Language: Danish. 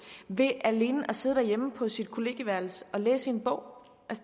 ved alene at sidde derhjemme på sit kollegieværelse og læse i en bog